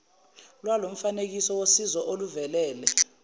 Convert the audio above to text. lwalomfanekiso wosizo oluvelele